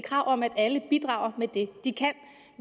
krav om at alle bidrager med det de kan